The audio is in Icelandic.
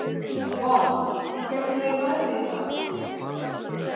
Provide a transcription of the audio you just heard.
Vala, hvernig er veðrið í dag?